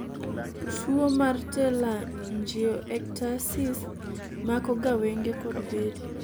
tuo mar telangiectasis mako ga wenge kod bede